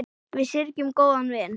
Við syrgjum góðan vin.